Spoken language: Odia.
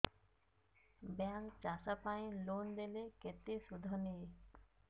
ବ୍ୟାଙ୍କ୍ ଚାଷ ପାଇଁ ଲୋନ୍ ଦେଲେ କେତେ ସୁଧ ନିଏ